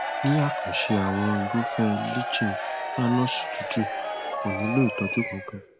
ní àkànṣe àwọn irúfẹẹ líchen planus tútù kò nílò ìtọjú kankan